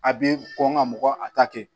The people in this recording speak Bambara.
A bɛ kɔn ka mɔgɔ a ta kɛ